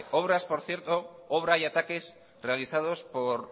obras por cierto obra y ataques realizados por